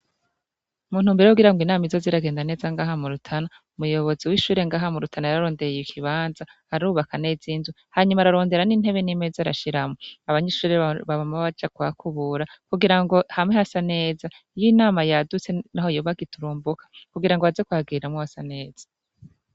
Muntumbero yo kugira ngo inama izoze iragenda neza ngaha mu Rutana, umuyobozi w'ishuri ngaha mu Rutana yararondeye ikibanza, arubaka naza inzu, hanyuma ararondera n'intebe n'imeze arashiramwo. Abanyeshuri bama baja kuhakubura, kugira ngo hame hasa neza, iyo inama yadutse naho yoba giturumbuka, kugira ngo baze kuhagiriramwo hasa neza.